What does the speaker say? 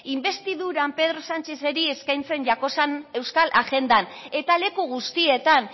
inbestiduran pedro sánchezeri eskaintzen jakozan euskal agendan eta leku guztietan